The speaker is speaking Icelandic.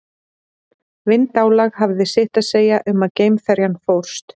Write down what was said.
Vindálag hafði sitt að segja um að geimferjan fórst.